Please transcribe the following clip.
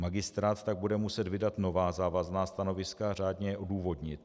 Magistrát tak bude muset vydat nová závazná stanoviska a řádně je odůvodnit.